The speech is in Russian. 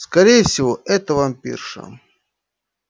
скорее всего это вампирша